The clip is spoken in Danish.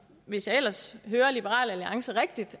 hvis jeg ellers hører liberal alliance rigtigt